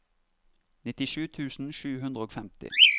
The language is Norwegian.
nittisju tusen sju hundre og femti